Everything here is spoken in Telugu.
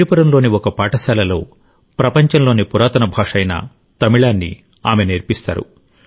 విడుపురంలోని ఒక పాఠశాలలో ప్రపంచంలోని పురాతన భాష అయిన తమిళాన్ని ఆమె నేర్పిస్తారు